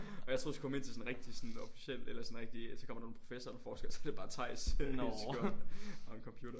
Og jeg troede vi skulle komme ind til sådan et rigtig sådan officielt eller sådan rigtig så kommer der en proffessor der forsker i så er det bare Theis helt skørt og en computer